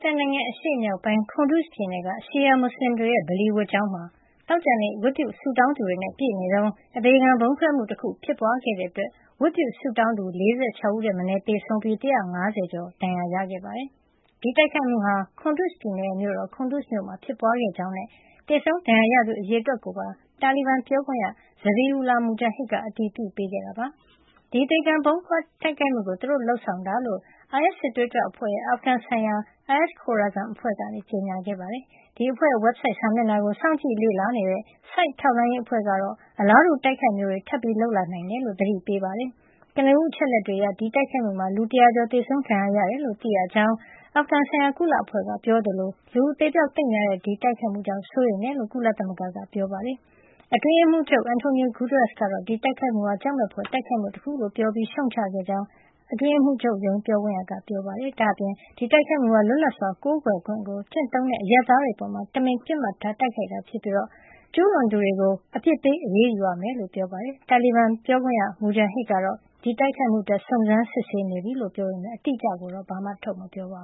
တန်နိုင်ငံ အရှေ့မြောက်ပိုင်း Kunduz ပြည်နယ်က ရှီယာမွတ်စလင်တွေရဲ့ ပလီဝတ်ကျောင်းမှာ သောကြာနေ့ ဝတ်ပြုဆုတောင်း သူတွေနဲ့ ပြည့်နေတုန်း အသေခံ ဗုံးခွဲမှု တခု ဖြစ်ပွါးခဲ့တဲ့အတွက် ဝတ်ပြုသူ ၄၆ ဦးထက်မနည်း သေဆုံးခဲ့ရပြီး ၁၅၀ ကျော် ဒဏ်ရာတွေ ရခဲ့ကြပါတယ်။ ဒီတိုက်ခိုက်မှုဟာ Kunduz ပြည်နယ်ရဲ့ မြို့တော် Kunduz မှာ ဖြစ်ပွါးခဲ့ကြောင်းနဲ့ သေဆုံးဒဏ်ရာရသူ အရေအတွက်ကိုပါ တာလီဘန်ပြောခွင့်ရ Zabihullah Mujahid က အတည်ပြုပေးခဲ့ပါတယ်။ ဒီအသေခံ ဗုံးခွဲ တိုက်ခိုက်မှုကို သူတို့ လုပ်ဆောင်တာ ဖြစ်ကြောင်း အိုင်အက်စ် စစ်သွေးကြွအဖွဲ့ ရဲ့ အာဖဂန် ဆိုင်ရာ IS Khorasan အဖွဲ့က ကြေညာခဲ့တာပါ။ ဒီအဖွဲ့ရဲ့ ဝက်ဘ်ဆိုဒ် စာမျက်နှာကို စောင့်ကြည့်လေ့လာတဲ့ SITE ထောက်လှန်းရေး အဖွဲ့ကတော့ အလားတူ တိုက်ခိုက်မှုမျိုးတွေ ထပ်လုပ်လာနိုင်တယ်လို့ သတိပေးထားပါတယ်။ ကနဦး အချက်အလက်တွေအရ ဒီတိုက်ခိုက်မှုမှာ လူ ၁၀၀ ကျော် သေဆုံး ဒဏ်ရာရတယ်လို့ သိရကြောင်း အာဖဂန်ဆိုင်ရာ ကုလအဖွဲ့ က ပြောသလို လူအသေအပျေက် သိပ်များတဲ့ ဒီတိုက်ခိုက်မှုကြောင့် အထူးစိုးရိမ်ကြောင်း ကုလသမဂ္ဂက တွစ်တာကနေ ပြောပါတယ်။ ကုလသမဂ္ဂအတွင်းရေးမှုးချုပ် António Guterres က ဒီတိုက်ခိုက်မှုဟာ ကြောက်မက်ဖွယ် တိုက်ခိုက်မှု တခုလို့ ပြောပြီး ရှုတ်ချခဲ့ ကြောင်း အတွင်းရေးမှုးချုပ် ပြောခွင့်ရက ပြောပါတယ်။ ဒါ့အပြင် ဒီတိုက်ခိုက်မှုဟာ လွတ်လပ်စွာကိုးကွယ်ခွင့်ကို ကျင့်သုံးနေတဲ့ အရပ်သားတွေ အပေါ် တမင်ပစ်မှတ်ထား တိုက်ခိုက်တာ စြဖ်ပြီး ကျူးလွန်သူတွေကို အပစ်ပေး အရေးယူရမှာ ဖြစ်ကြောင်းလည်း ပြောပါတယ်။ တာလီဘန် ပြောခွင့်ရ Mijahid ကတော့ ဒီတိုက်ခိုက်မှု အတွက ်စုံစမ်း စစ်ဆေးနေပြီဖြစ်ကြောင်း ပြောပေမယ့် အတီအကျကိုတော့ ထုတ်မပြောပါ